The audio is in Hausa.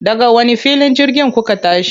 Daga wani filin jirgin kuka tashi?